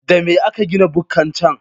Da me aka gina bukkar can?